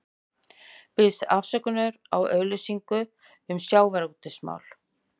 Biðst afsökunar á auglýsingu um sjávarútvegsmál